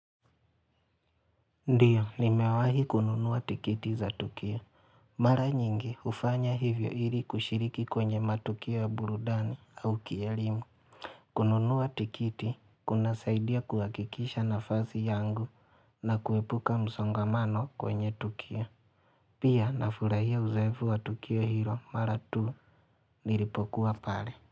Ndiyo nimewahi kununua tikiti za tukio mara nyingi hufanya hivyo ili kushiriki kwenye matukio ya burudani au kielimu kununua tikiti kuna saidia kuhakikisha nafasi yangu na kuepuka msongamano kwenye tukio pia nafurahia uzoefu wa tukio hilo mara tuu nilipokuwa pale.